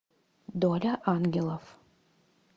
доля ангелов